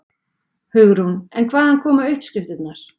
Hugrún: En hvaðan koma uppskriftirnar?